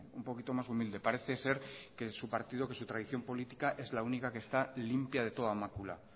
un poquito más humilde parece ser que su partido por su tradición política es la única que está limpia de toda mácula